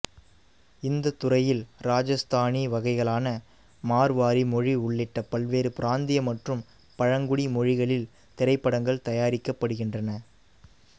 இந்த துறையில் ராஜஸ்தானி வகைகளான மார்வாரி மொழி உள்ளிட்ட பல்வேறு பிராந்திய மற்றும் பழங்குடி மொழிகளில் திரைப்படங்கள் தயாரிக்கப்படுகின்றன